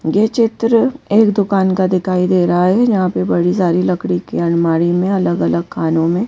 ये चित्र एक दुकान का दिखाई दे रहा है जहां पे बड़ी सारी लकड़ी की अनमारी में अलग-अलग खानों में--